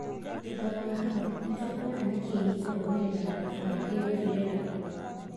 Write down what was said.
Thutha wa hau, nĩtũkwona nĩkĩ gĩkũrũmĩrĩra na thabarĩ ĩgũthirĩra kũ?